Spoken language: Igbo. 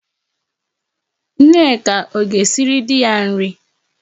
Nneka ọ ga-esiri di ya nri?